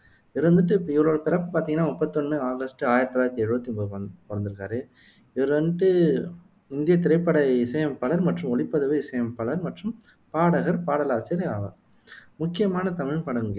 இவரு வந்துட்டு இவரோட பிறப்பு பாத்திங்கன்னா முப்பத்தி ஒண்ணு ஆகஸ்டு ஆயிரத்தி தொள்ளாயிரத்தி எழுபத்தி ஒன்பதுல பொறந்துருக்காரு இவரு வந்துட்டு இந்திய திரைப்பட இசையமைப்பாளர் மற்றும் ஒலிப்பதிவு இசையமைப்பாளர் மற்றும் பாடகர் பாடலாசிரியர் ஆவார் முக்கியமான தமிழ் படங்களில்